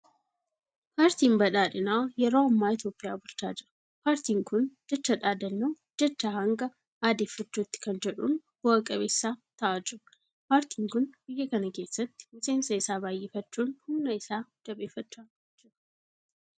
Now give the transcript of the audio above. Paartiin badhaadhinaa yeroo amma Itoophiyaa bulchaa jira. Paartiin kun jecha dhaadannoo Jechaa hanga aadeffachuutti kan jedhuun bu'a qabeessa ta'aa jira. Paartiin kun biyya kana keessatti miseensa isaa baay'ifachuudhaan humna isaa jabeeffachaa jira.